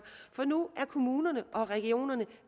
for nu er kommunerne og regionerne